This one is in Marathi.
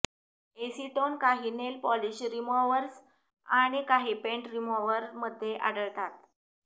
एसीटोन काही नेल पॉलिश रिमॉव्हर्स आणि काही पेंट रिमॉव्हरमध्ये आढळतात